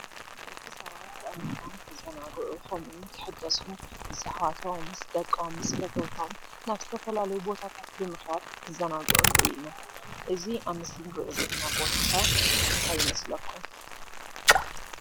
ደቂ ሰባት አእምሮኦም ክዘናጉዑ ከምኡ እውን ክሕደሱ ምስ አሕዋቶም ፣ምስ ደቂም ፣ምስ ፈተውቶም ናብ ዝተፈላለዩ ቦታ ብምክያድ ክዛናጉዕን ንሪኢ እና ።እዚ አብ ምስሊ እንሪኦ ዘለና ቦታ ከ እንታይ ይመስለኩም?